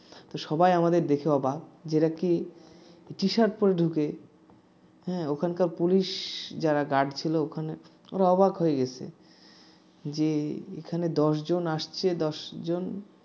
সবাই আমাদের দেখে অবাক এরা কি t-shirt পরে ঢুকে হ্যাঁ ওখানকার পুলিশ যারা গার্ড ছিল ওরা অবাক হয়ে গেছে যে এখানে দশ জন আসছে